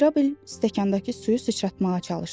Mirabel stəkanndakı suyu sıçratmağa çalışdı.